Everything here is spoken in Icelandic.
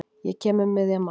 Ég kem um miðjan mars.